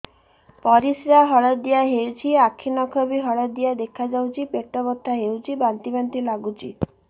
ପରିସ୍ରା ହଳଦିଆ ହେଉଛି ଆଖି ନଖ ବି ହଳଦିଆ ଦେଖାଯାଉଛି ପେଟ ବଥା ହେଉଛି ବାନ୍ତି ବାନ୍ତି ଲାଗୁଛି